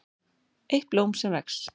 EITT BLÓM SEM VEX